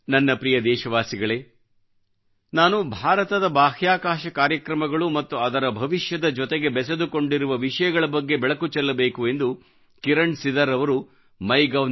ನನ್ನ ಪ್ರೀತಿಯ ದೇಶವಾಸಿಗಳೇನಾನು ಭಾರತದ ಬಾಹ್ಯಾಕಾಶ ಕಾರ್ಯಕ್ರಮಗಳು ಮತ್ತು ಅದರ ಭವಿಷ್ಯದ ಜೊತೆಗೆ ಬೆಸೆದುಕೊಂಡಿರುವ ವಿಷಯಗಳ ಬಗ್ಗೆ ಬೆಳಕು ಚೆಲ್ಲಬೇಕು ಎಂದು ಕಿರಣ್ ಸಿದರ್ ಅವರು ಮೈಗೌ mygov